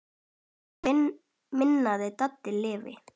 Megi minning Dadda lifa.